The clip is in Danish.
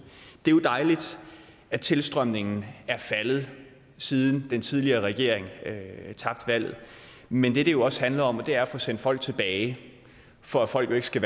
det er jo dejligt at tilstrømningen er faldet siden den tidligere regering tabte valget men det det også handler om er at få sendt folk tilbage for folk skal